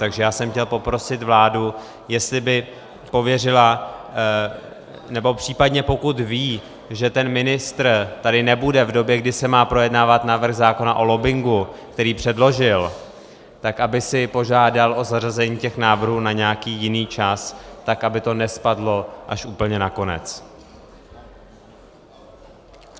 Takže já jsem chtěl poprosit vládu, jestli by pověřila - nebo případně pokud ví, že ten ministr tady nebude v době, kdy se má projednávat návrh zákona o lobbingu, který předložil, tak aby si požádal o zařazení těch návrhů na nějaký jiný čas, tak aby to nespadlo až úplně na konec.